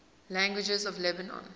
languages of lebanon